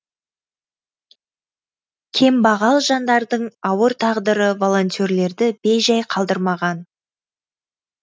кембағал жандардың ауыр тағдыры волонтерлерді бейжай қалдырмаған